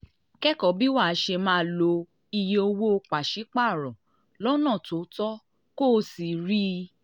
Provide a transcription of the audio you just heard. kẹ́kọ̀ọ́ bí wàá ṣe máa lo iye owó paṣipaarọ lọ́nà tó tọ́ kó o sì rí